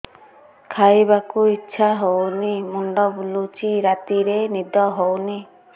ଖାଇବାକୁ ଇଛା ହଉନି ମୁଣ୍ଡ ବୁଲୁଚି ରାତିରେ ନିଦ ହଉନି